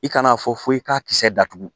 I kan'a fɔ fo i k'a kisɛ datugu